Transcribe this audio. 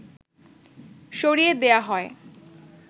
সরিয়ে দেয়া হয়